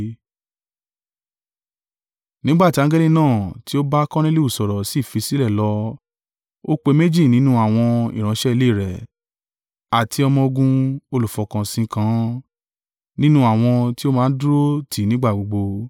Nígbà tí angẹli náà tí ó bá Korneliu sọ̀rọ̀ sì fi i sílẹ̀ lọ ó pe méjì nínú àwọn ìránṣẹ́ ilé rẹ̀, àti ọmọ-ogun olùfọkànsìn kan, nínú àwọn ti ó máa ń dúró tì í nígbà gbogbo.